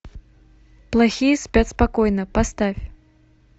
плохие спят спокойно поставь